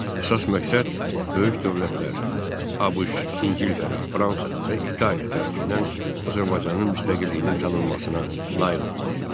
Əsas məqsəd böyük dövlətlər – ABŞ, İngiltərə, Fransa və İtaliya tərəfindən Azərbaycanın müstəqilliyinin tanınmasına nail olmaq idi.